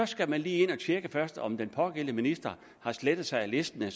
skal man lige ind at tjekke først om den pågældende minister har slettet sig af listen